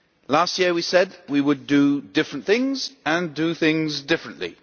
Last year we said we would do different things and do things differently.